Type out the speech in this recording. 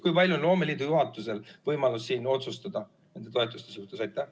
Kui palju on loomeliidu juhatusel võimalik otsustada nende toetuste suhtes?